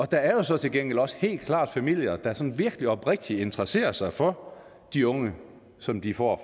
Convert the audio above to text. der er jo så til gengæld også helt klart familier der sådan virkelig oprigtigt interesserer sig for de unge som de får